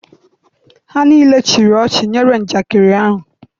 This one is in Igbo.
ha nile chịrị ochi nyere njakịrị ahu.